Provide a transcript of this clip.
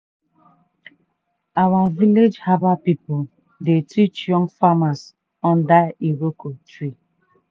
our village herbal people dey teach young farmers under iroko tree.